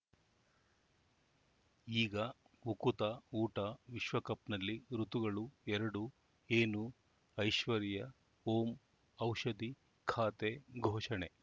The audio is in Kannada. ಈಗ ಉಕುತ ಊಟ ವಿಶ್ವಕಪ್‌ನಲ್ಲಿ ಋತುಗಳು ಎರಡು ಏನು ಐಶ್ವರ್ಯಾ ಓಂ ಔಷಧಿ ಖಾತೆ ಘೋಷಣೆ